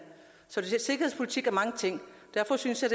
så sikkerhedspolitik er mange ting derfor synes jeg